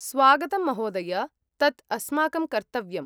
स्वागतं महोदय, तत् अस्माकं कर्तव्यम्।